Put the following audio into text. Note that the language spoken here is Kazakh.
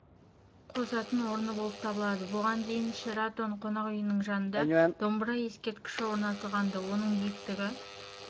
қосатын орны болып табылады бұған дейін шератон қонақ үйінің жанына домбыра ескерткіші орнатылған-ды оның биіктігі